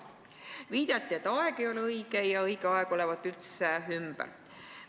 Viidati, et aeg ei ole õige, ja et õige aeg olevat üldse ümber.